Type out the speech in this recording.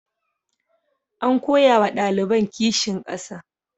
An koya wa ɗaliban kishin ƙasa.